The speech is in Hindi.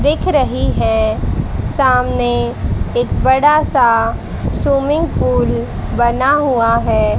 दिख रही है सामने एक बड़ा सा सुमिंग पूल बना हुआ है।